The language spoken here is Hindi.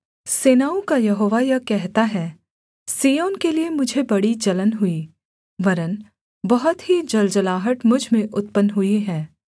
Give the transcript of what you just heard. सेनाओं का यहोवा यह कहता है सिय्योन के लिये मुझे बड़ी जलन हुई वरन् बहुत ही जलजलाहट मुझ में उत्पन्न हुई है